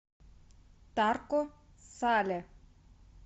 тарко сале